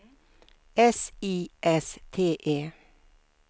S I S T E